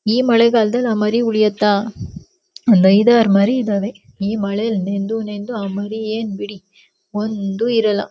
ಈ ಮಳೆಗಾಲದಲ್ಲಿ ಆ ಮರಿ ಉಳಿಯುತ್ತಾ ಒಂದ ಐದಾರು ಮರಿ ಇದಾವೆ ಈ ಮಳೆಲ್ಲಿ ನೆಂದು ನೆಂದು ಆ ಮರಿ ಏನ್ ಬಿಡಿ ಒಂದು ಇರಲ್ಲಾ.